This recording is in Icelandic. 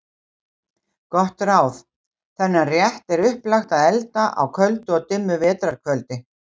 Gott ráð: Þennan rétt er upplagt að elda á köldu og dimmu vetrar kvöldi.